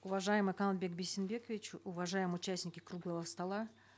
уважаемый канатбек бейсенбекович уважаемые участники круглого стола